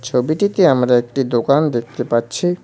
ছবিটিতে আমরা একটি দোকান দেখতে পাচ্ছি।